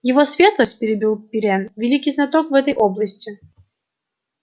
его светлость перебил пиренн великий знаток в этой области